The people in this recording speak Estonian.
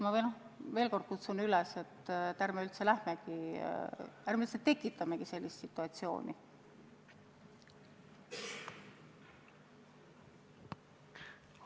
Ma veel kord kutsun üles: ärme üldse tekitamegi sellist situatsiooni!